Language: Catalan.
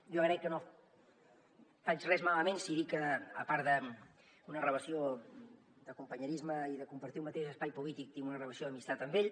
jo crec que no faig res malament si dic que a part d’una relació de companyerisme i de compartir un mateix espai polític tinc una relació d’amistat amb ell